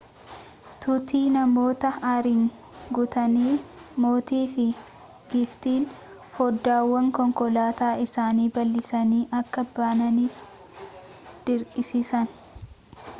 tuuti namoota aariin guutanii mootii fi giiftiin foddaawwan konkolaataa isaanii bal'isanii akka bananiif dirqisiisan